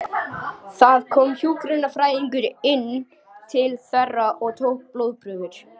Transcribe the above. Það kom hjúkrunarfræðingur inn til þeirra og tók blóðprufur.